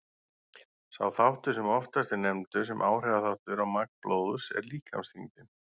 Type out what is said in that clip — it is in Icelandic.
Sá þáttur sem oftast er nefndur sem áhrifaþáttur á magn blóðs er líkamsþyngdin.